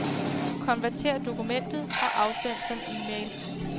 Konvertér dokumentet og afsend som e-mail.